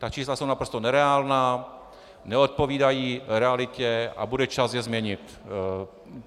Ta čísla jsou naprosto nereálná, neodpovídají realitě a bude čas je změnit.